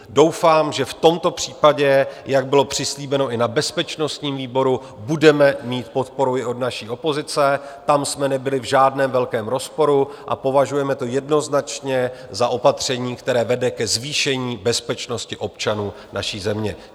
Doufám, že v tomto případě, jak bylo přislíbeno i na bezpečnostním výboru, budeme mít podporu i od naší opozice, tam jsme nebyli v žádném velkém rozporu, a považujeme to jednoznačně za opatření, které vede ke zvýšení bezpečnosti občanů naší země.